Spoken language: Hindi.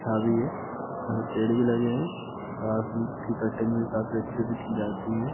चाभी है यहाँ पेड़ भी लगे हैं कटिंग भी काफी अच्छे से की जाती है।